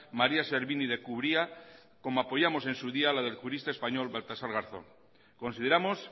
maría servini de cubría como apoyamos en su día la del jurista español baltasar garzón consideramos